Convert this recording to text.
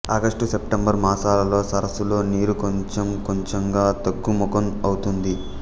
August September మాసాలలో సరసులో నీరు కొంచెంకొంచెంగా తగ్గుముఖం ఔతుంది